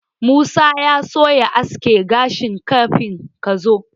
Musa ya so ya aske gashinsa kafin ka zo.